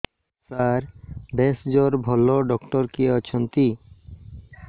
ସାର ଭେଷଜର ଭଲ ଡକ୍ଟର କିଏ ଅଛନ୍ତି